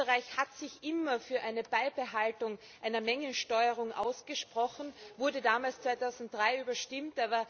Österreich hat sich immer für eine Beibehaltung einer Mengensteuerung ausgesprochen, wurde damals 2003 überstimmt.